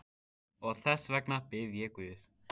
Og þess vegna bið ég guð.